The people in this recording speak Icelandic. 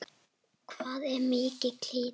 Hvað er mikill hiti?